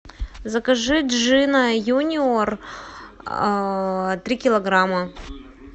закажи джина юниор три килограмма